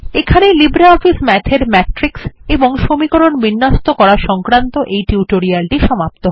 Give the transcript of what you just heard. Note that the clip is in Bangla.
এখানেই লিব্রিঅফিস মাথ এর ম্যাট্রিক্স এবং সমীকরণ বিন্যস্ত করা সংক্রান্ত এই টিউটোরিয়ালটি সমাপ্ত হল